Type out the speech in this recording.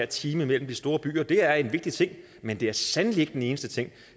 time mellem de store byer det er en vigtig ting men det er sandelig ikke den eneste ting